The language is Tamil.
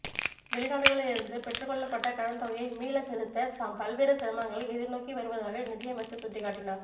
வெளிநாடுகளிலிருந்து பெற்றுக்கொள்ளப்பட்ட கடன் தொகையை மீள செலுத்த தாம் பல்வேறு சிரமங்களை எதிர்நோக்கி வருவதாக நிதியமைச்சர் சுட்டிக்காட்டினார்